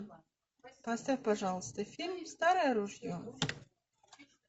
поставь пожалуйста фильм старое ружье